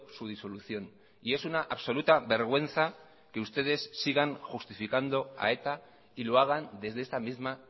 su disolución y es una absoluta vergüenza que ustedes sigan justificando a eta y lo hagan desde esta misma